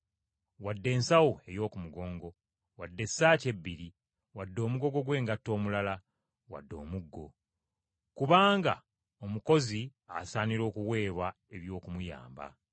wadde ensawo ey’oku mugongo, wadde essaati ebbiri, wadde omugogo gw’engatto omulala, wadde omuggo. Kubanga omukozi asaanira okuweebwa eby’okumuyamba.